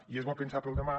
i és bo pensar pel demà